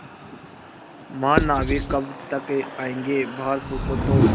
महानाविक कब तक आयेंगे बाहर पूछो तो